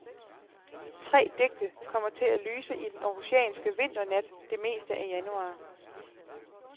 Tre digte, kommer til at lyse i den århusianske vinternat det meste af januar.